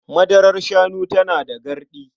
Madarar shanu tana da garɗi.